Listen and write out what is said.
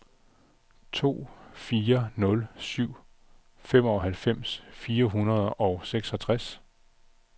to fire nul syv femoghalvfems fire hundrede og seksogtres